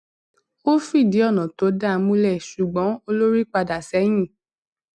ó fìdí ònà tó dáa múlẹ ṣùgbọn olórí padà sẹyìn